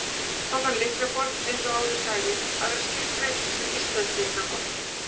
Þá þarf lyklaborðið, eins og áður sagði, að vera skilgreint sem íslenskt lyklaborð.